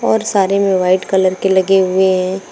और सारे में व्हाइट कलर के लगे हुए हैं।